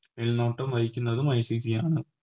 മേൽനോട്ടം വഹിക്കുന്നതും ICC ആണ്